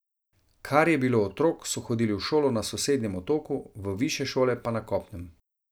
Kar je bilo otrok, so hodili v šolo na sosednjem otoku, v višje šole pa na kopnem.